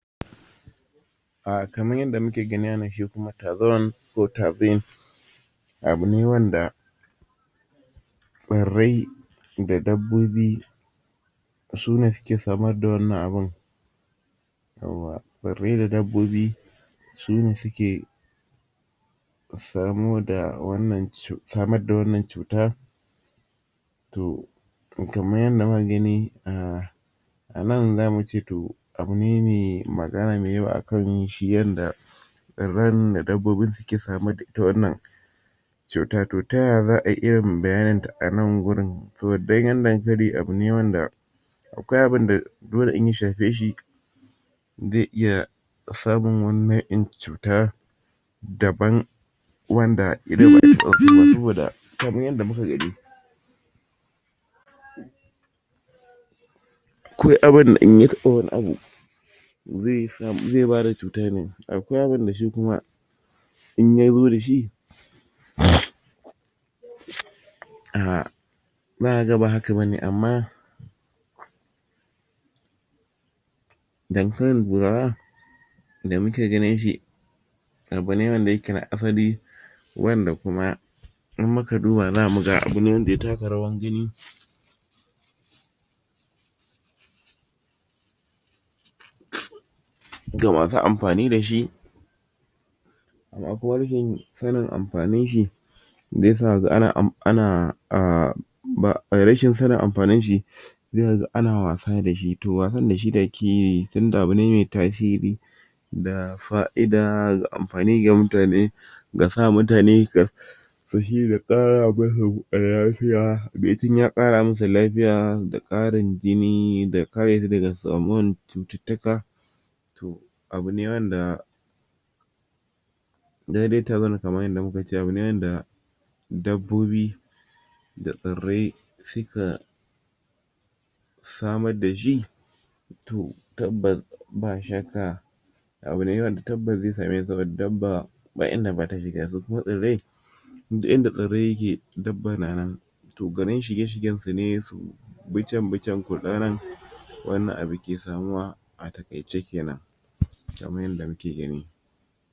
um kamar yanda muke gani wannan shikuma tazon ko tazim abune wanda tsirrai da dabbobi sune suke samar da wannan abun yawwa tsirrai da dabbobo sune suke samu da wannan cuta samar da wannan cuta to kamar yanda muka gani a a nan zamuci a abune me magana akanyinshi yanda tsirran da dabbobin suke samar da ita wannan cuta to taya za'a iyayin bayaninta anan gurin danyan dankali abune wanda akwai abunda dole in ya shafeshi zai iya samun wani au'in cuta daban wanda hanyoyin da muka gani akwai abunda inya taɓa wani abu zai bada cuta ne akwai abunda shi kuma inya zo dashi um zaka ga ba haka bane amma dankalin burara da muke ganinshi a baleran da yake na asali wanda kuma in muka duba xamuga bileran da ya taka rawar gani ga masu amfani dashi ga kuma rashin ga kuma rashin sanin sanan amfaninshi sai ga ana a ba ae rashin sanin amfaninshi sai kaga ana wasa dashi to wasan dashi da akeyi tunda abune me tasiri ga fa'ida da amfani ga mutane gasa mutane da ƙara musu lafiya bacin ya ƙara musu lafiya da ƙarin jini da karesu daga kamuwar cututtuka abune wanda daidai tagun kamar yanda mukace abun ne wanda dabbobi da tsirrai suka samar dashi to tabbas ba shakka abunne wanda tabbas zai samu saboda dabba ba inda bata shiga su kuma tsirrai duk inda tsirrai yake dabba na nan to garin shige shigensu ne to bi can bi can kurɗa nan wannan abu ke samuwa a taƙaice kenan kamar yanda muke gani